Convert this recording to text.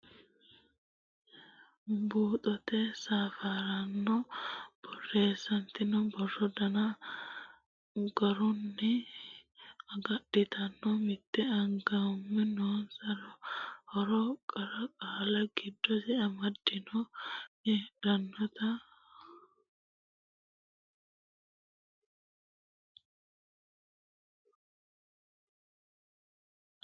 Buuxote Safaraano Borreessitinoonni borro danna garunni agadhitinoro mitti angimma noosero haaro qara qaalla giddose amaddinoro hedotenna assootu sufamme noosero mitte mittenta diraamu bisubba amaddinoro misilshu afuubba giddose amaddinoro buuxxine taashshe.